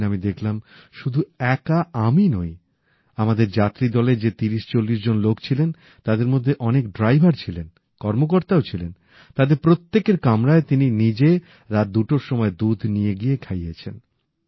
পরের দিন আমি দেখলাম শুধু একা আমি নই আমাদের যাত্রী দলের যে ৩০৪০ জন লোক ছিলেন তার মধ্যে অনেক ড্রাইভার ছিলেন কর্মকর্তাও ছিলেন তাদের প্রত্যেকের কামরায় তিনি নিজে রাত দুটোর সময় দুধ নিয়ে গিয়ে খাইয়েছেন